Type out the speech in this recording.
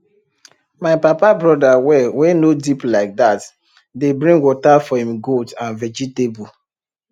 my papa brother well wey no deep like that dey bring water for im goat and vegetable